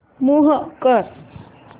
move कर